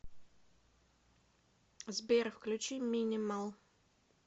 сбер включи минимал